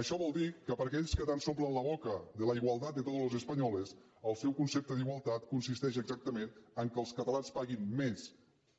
això vol dir que per aquells que tant s’omplen la boca de la igualdad de todos los espanyoles el seu concepte d’ igualtat consisteix exactament a fer que els catalans paguin més